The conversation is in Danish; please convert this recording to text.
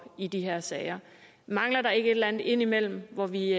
i de her sager mangler der ikke et eller andet ind imellem hvor vi